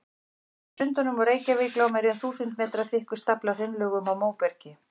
Yfir Sundunum og Reykjavík lá meira en þúsund metra þykkur stafli af hraunlögum og móbergi.